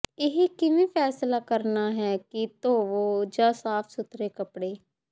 ਇਹ ਕਿਵੇਂ ਫੈਸਲਾ ਕਰਨਾ ਹੈ ਕਿ ਧੋਵੋ ਜਾਂ ਸਾਫ ਸੁਥਰਾ ਕੱਪੜੇ